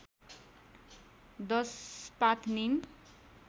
१० पात निम